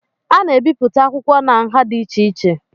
A na-ebipụta akwụkwọ na nha dị iche iche